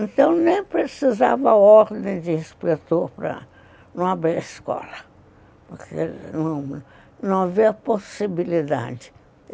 Então, nem precisava ordem de inspetor para não abrir a escola, porque não havia possibilidade.